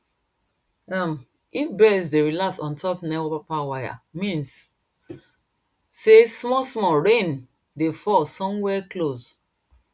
um if birds dey relax on top nepa wire mean sey small small rain dey fall somewhere close